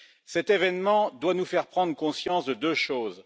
Cet événement doit nous faire prendre conscience de deux choses.